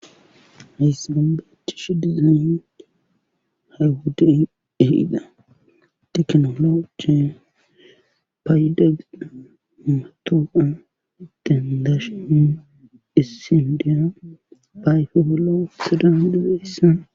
Haysan tan beyash dizayn ha wodde dehiida teknolocie paydagida matooa idten dashin hissindera fayfogolo soda huduze hissan